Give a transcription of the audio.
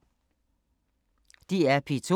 DR P2